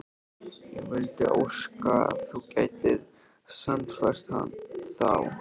Ég vildi óska að þú gætir sannfært þá